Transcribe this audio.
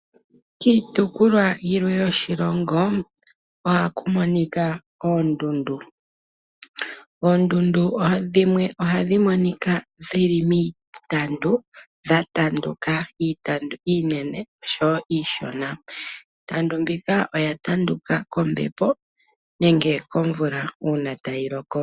Kiitopolwa yimwe yoshilongo ohaku monika oondundu. Oondundu dhimwe ohadhi monika dhili miitandu. Odha tanduka miitandu iinene oshowo iishona. Iitandu mbika oya tanduka kombepo nenge komvula uuna tayi loko.